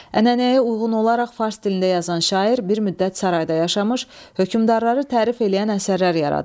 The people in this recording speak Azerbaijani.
Ənənəyə uyğun olaraq fars dilində yazan şair bir müddət sarayda yaşamış, hökmdarları tərif eləyən əsərlər yaradıb.